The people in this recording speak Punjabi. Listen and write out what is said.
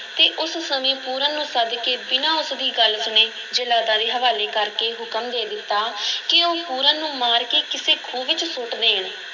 ਅਤੇ ਉਸ ਸਮੇਂ ਪੂਰਨ ਨੂੰ ਸੱਦ ਕੇ ਬਿਨਾਂ ਉਸ ਦੀ ਗੱਲ ਸੁਣੇ, ਜੱਲਾਦਾਂ ਦੇ ਹਵਾਲੇ ਕਰ ਕੇ ਹੁਕਮ ਦੇ ਦਿੱਤਾ ਕਿ ਉਹ ਪੂਰਨ ਨੂੰ ਮਾਰ ਕੇ ਕਿਸੇ ਖੂਹ ਵਿੱਚ ਸੁੱਟ ਦੇਣ।